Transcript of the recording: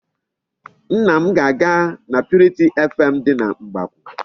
Nne m ga-aga na purity FM dị na Mgbakwụ.